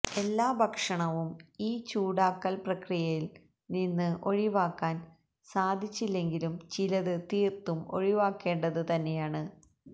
എല്ലാ ഭക്ഷണവും ഈ ചൂടാക്കല് പ്രക്രിയയില് നിന്ന് ഒഴിവാക്കാന് സാധിച്ചില്ലെങ്കിലും ചിലത് തീര്ത്തും ഒഴിവാക്കേണ്ടത് തന്നെയാണ്